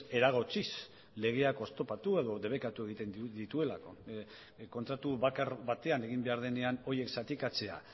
eragotziz legeak oztopatu edo debekatu egiten dituelako kontratu bakar batean egin behar denean horiek zatikatzea